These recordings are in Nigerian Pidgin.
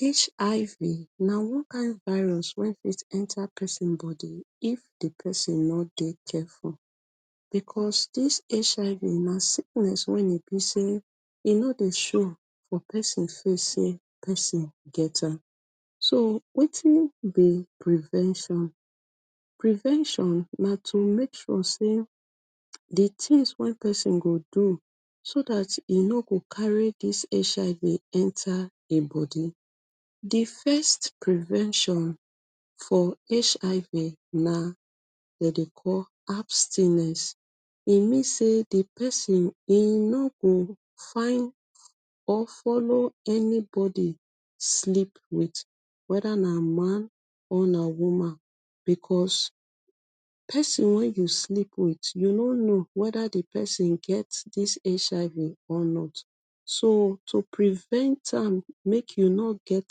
Hiv na one kind virus way fit enter pesin bodi if di pesin no dey careful becos dis Hiv na sickness wen e be say e no dey show for pesin face say pesin get am so wetin be prevention prevention na to make sure say di tins wen pesin go do so dat e no go carry dis Hiv enter bodi, di first prevention for Hiv na dey dey call abstinence e means say di pesin e no go find or follow any bodi sleep wit wether na man or na woman becos pesin way you sleep wit you no no wether di pesin get dis Hiv or not so to prevent am make you no get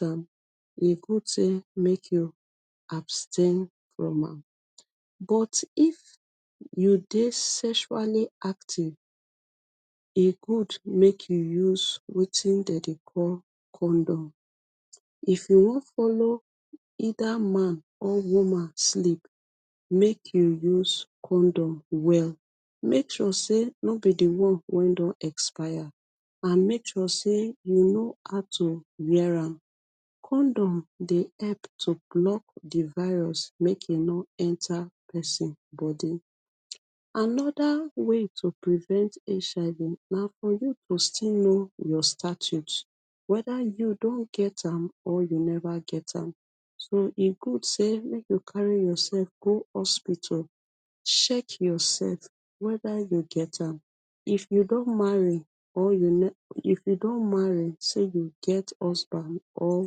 am e good say make you abstain from am but if you dey sexually active e good make you use wetin dem dey call condom if you wan follow either man or woman sleep make you use condom well make sure say no be di one wen don expire and make sure say you no how to wear am condom dey help to block d virus make e no enter pesin bodii another way to prevent Hiv na for you to still know your status wether you don get am or you never get am so e good say make yo carry yourself go hospital check yourself wether you get am if you don marry or you never if you don marry say you get husband or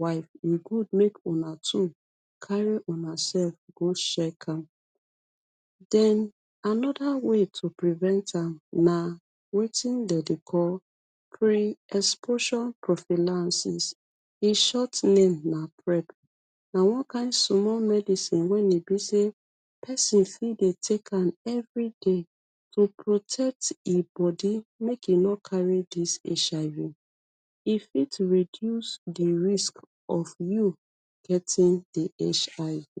wife e good make una two carry una self go check am then another way to prevent am na wetin dem dey call am crian expo na one kind small medicine when e bi say pesin fit dey take am every day to protect e body make e no carry this Hiv e fit reduce di risk of you getting di HIV.